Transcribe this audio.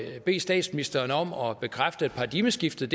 bede statsministeren om at bekræfte at paradigmeskiftet